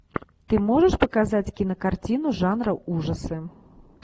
ты можешь показать кинокартину жанра ужасы